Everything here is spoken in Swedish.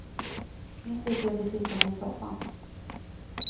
Nu slipper jag bli sittande i soffan.